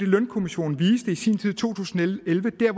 lønkommissionen viste i sin tid i to tusind